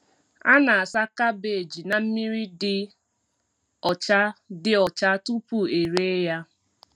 A na-asa kabeeji na mmiri dị ọcha dị ọcha tupu e ree ya.